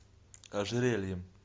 ожерельем